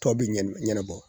Tɔ bɛ ɲɛn ɲɛnɛbɔ